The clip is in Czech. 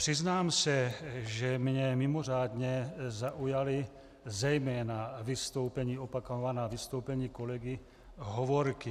Přiznám se, že mě mimořádně zaujala zejména opakovaná vystoupení kolegy Hovorky.